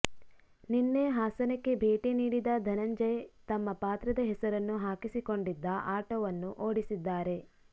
ನಿನ್ನೆ ಹಾಸನಕ್ಕೆ ಭೇಟಿ ನೀಡಿದ ಧನಂಜಯ ತಮ್ಮ ಪಾತ್ರದ ಹೆಸರನ್ನು ಹಾಕಿಸಿಕೊಂಡಿದ್ದ ಆಟೋವನ್ನು ಓಡಿಸಿದ್ದಾರೆ